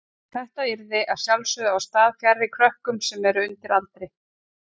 Þetta yrði að sjálfsögðu á stað fjarri krökkum sem eru undir aldri.